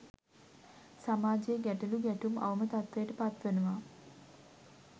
සමාජයෙ ගැටලු ගැටුම්, අවම තත්ත්වයට පත්වනවා.